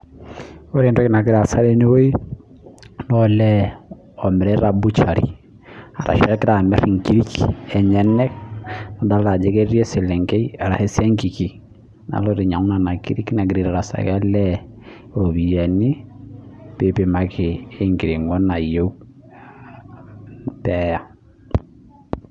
Ore etoki nagira aasa tene wuei naa olee omirita butchery arashu egira amir ikirik enyenak, idolita ajo ketii eselenkei arashu esiankiki naloito ainyiangu nena kirik, negira aitarasaki olee ropiyani pee eipimaki ekiringo nayieu peeya.